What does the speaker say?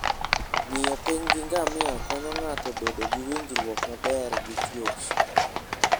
Ng'iyo piny gi ngamia konyo ng'ato bedo gi winjruok maber gi chwech.